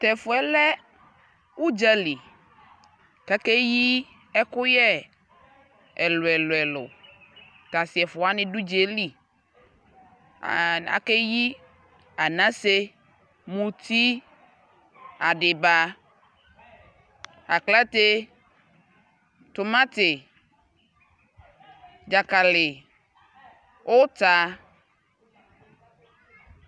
Tɛfuɛ lɛ udzalι kʋ akeyi ɛkʋyɛ ɛlʋɛlʋ Tʋ asi ɛfuaani dʋ udza yɛ lι aan akeyi anase, mʋti adιba, aklate, tumati, dzakalι, ʋta